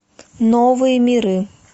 новые миры